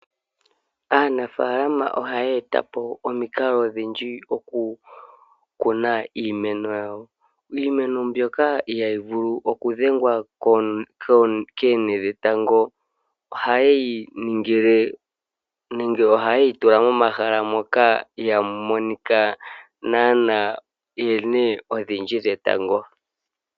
Aaanafaalama ohaye eta po omikalo odhindji oku kuna iimeno yawo ,iimeno mbyoka ihayi vulu oku dhengwa koonte dhetango ohayi ningile nenge ohayeyi tula mohala moka ihamu monika naanaa oonte odhindji dhe tango.